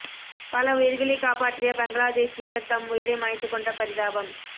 பல உயிர்களைக் காப்பாற்றிய பங்ளாதேஷ் வீரர் தம் உயிரை மாய்த்துக்கொண்ட பரிதாபம்